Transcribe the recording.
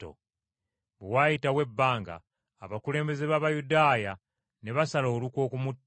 Bwe waayitawo ebbanga, abakulembeze b’Abayudaaya ne basala olukwe okumutta.